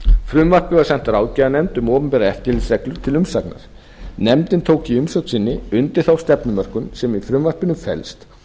frumvarpið var sent ráðgjafarnefnd um opinberar eftirlitsreglur til umsagnar nefndin tók í umsögn sinni undir þá stefnumörkun sem í frumvarpinu felst